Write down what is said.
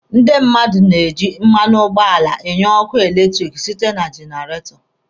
Ndị mmadụ na-eji mmanụ ụgbọala enye ọkụ eletiriki site na jenaretọ